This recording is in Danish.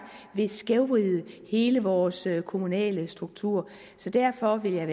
vil skævvride hele vores kommunale struktur så derfor ville jeg